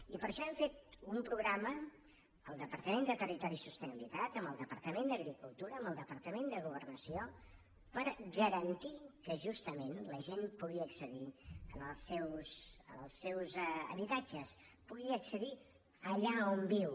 i per això hem fet un programa al departament de territori i sostenibilitat amb el departament d’agricultura amb el departament de governació per garantir que justament la gent pugui accedir als seus habitatges pugui accedir allà on viu